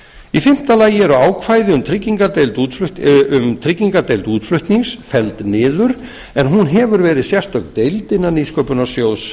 í fimmta lagi eru ákvæði um tryggingardeild útflutnings felld niður en hún hefur verið sérstök deild innan nýsköpunarsjóðs